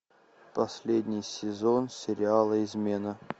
последний сезон сериала измена